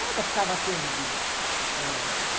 Nada ficava perdido, ãh